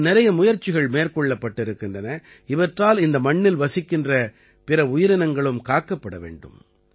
மேலும் நிறைய முயற்சிகள் மேற்கொள்ளப்பட்டிருக்கின்றன இவற்றால் இந்த மண்ணில் வசிக்கின்ற பிற உயிரினங்களும் காக்கப்பட வேண்டும்